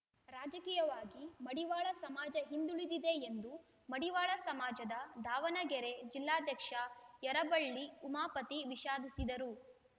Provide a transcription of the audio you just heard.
ರಾಜಕೀಯವಾಗಿ ಮಡಿವಾಳ ಸಮಾಜ ಹಿಂದುಳಿದಿದೆ ಎಂದು ಮಡಿವಾಳ ಸಮಾಜದ ದಾವಣಗೆರೆ ಜಿಲ್ಲಾಧ್ಯಕ್ಷ ಯರಬಳ್ಳಿ ಉಮಾಪತಿ ವಿಷಾದಿಸಿದರು